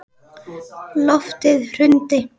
Loftið hrundi.